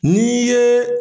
Ni ye.